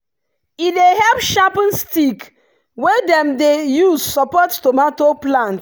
e dey help sharpen stick wey dem dey use support tomato plant.